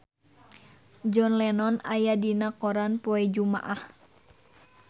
John Lennon aya dina koran poe Jumaah